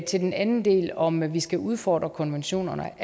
til den anden del om at vi skal udfordre konventionerne